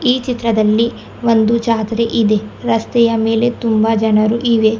ಈ ಚಿತ್ರದಲ್ಲಿ ಒಂದು ಜಾತ್ರೆ ಇದೆ ರಸ್ತೆಯ ಮೇಲೆ ತುಂಬಾ ಜನರು ಇವೆ.